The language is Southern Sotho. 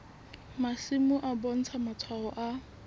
masimo e bontsha matshwao a